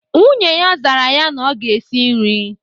Nwunye ya zara ya na ọ ga-esi nri